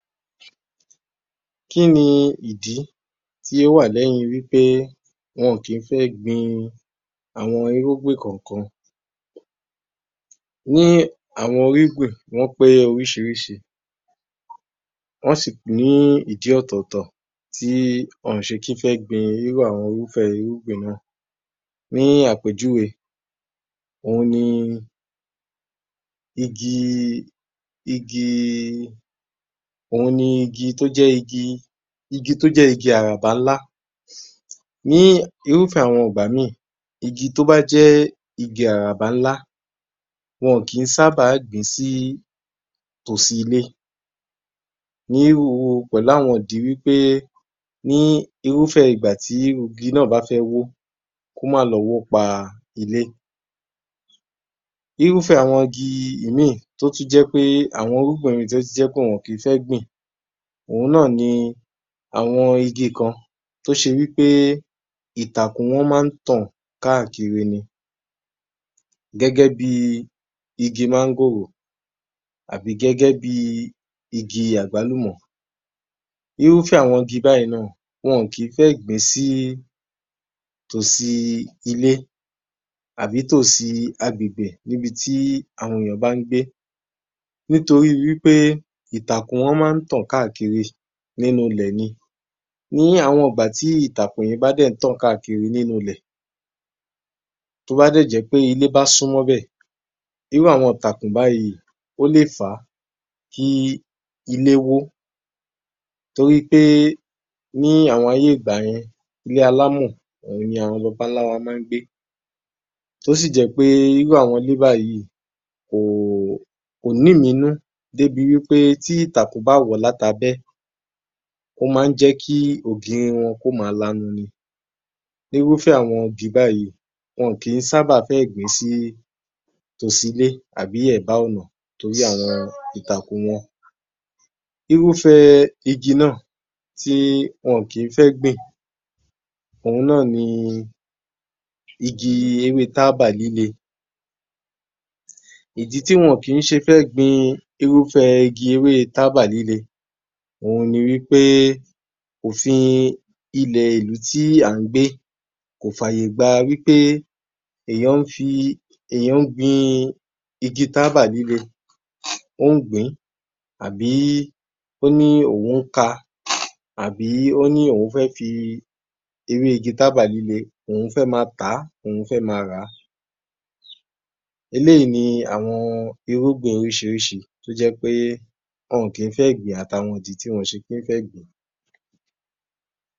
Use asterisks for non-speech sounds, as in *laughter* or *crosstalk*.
19_ *noise* _yoruba_yor_m_1143_AG00906 Kín ni ìdí tí ó wà lẹ́yin wí pé wọn ò kì í fẹ́ ẹ́ gbin àwọn irúgbìn kọ̀ọ̀kan. Ní àwọn irúgbìn wọn pé orísìírísìí, wọn sì í ní ìdí ọ̀tọ̀ọ̀tọ̀ tí wọn ò ṣe kí fẹ́ ẹ́ gbin irú àwọn irúfẹ́ irúgbìn ná à. Ní àpéjúwe, òun ni igi, igi, òun ni igi tó jẹ́ igi, igi tó jẹ́ igi àràbà ńlá. Ní irúfẹ́ àwọn ìgbà míì, igi tó bá jẹ́ igi àràbà ńlá, wọn ò kì í sábà á gbin sí tòsí ilé. Ní irú u pẹ̀lú àwọn ìdí wí pé ní irúfẹ́ ìgbà tí igi ná à bá fẹ́ ẹ́ wó ó, kó má lọ wó pa ilé. Irúfẹ́ àwọn igi i, ìmíì tó tún jẹ́ pe, àwọn irúgbìn míì tó tún jẹ́ pe wọn ò kì í fẹ́ ẹ́ gbin òhun ná à ni àwọn igi kan tó ṣe wí pe ìtàkùn wọn maá tàn káàkiri ni. Gẹ́gẹ́ bí i igi máńgòrò, àbí gẹ́gẹ́ bí i igi àgbálùmọ̀. Irúfẹ́ àwọn igi báyìí ná à, wọn ò kì í fẹ́ ẹ́ gbin sí í tòsí ilé àbí tòsí agbègbè ní ibi tí àwọn èèyàn bá ń gbé. Nítorí wí pé ìtàkùn wọn maá tàn káàkiri nínú ilẹ̀ ni. Ní àwọn ìgbà tí àwọn ìtàkùn yẹn bá dẹ̀ ń tàn káàkiri nínú ilẹ̀, tó bá dẹ̀ jẹ́ pe ilé bá súmọ́ bẹ̀, irú àwọn ìtàkùn báyìí ó lè fà á kí í ilé wó ó. Torí í pé é ní àwọn ayé ìgba yẹn, ilé alámọ̀ òun ni àwọn baba ńlá wa maá gbé. Tósì jẹ́ pe irú àwọn ilé báyìí kò kò ní ìmínú dé bi wí pé tí ìtàkùn bá wọ̀ ọ́ láti abẹ́, ó maá ń jẹ́ kí í ògiri wọn kó máa lanu ni. Ní irúfẹ́ àwọn igi báyìí, wọn ò kì í sábà fẹ́ gbin sí tòsí ilé àbí ẹ̀bá ọ̀nà torí um àwọn ìtàkùn wọn. Irúfẹ́ ẹ igi ná à tí wọn ò kì í fẹ́ gbin òun ná à ni i igi i ewé e tábà líle. Ìdí tí wọn ò kì í ṣe fẹ́ gbin irúfẹ́ igi i ewé e tábà líle òun ni wí pé òfin ilẹ̀ ìlú tí à ń gbé kò f'àyè gba wí pé èèyàn ń fi, èèyàn ń gbin-ín igi i tábà líle, ó ń gbìn-ín àbí k'ó ní òun ká a, àbí ó ní òun fẹ́ fi ewé igi tábà líle òun fẹ́ máa tà á, òun fẹ́ máa rà á. Eléyìí ni àwọn irúgbìn orísìírísìí tó jẹ́ pé é wọn ò kì í fẹ́ gbin àti àwọn ìdí tÍ wọn ò kì í fẹ́ gbìn-ín.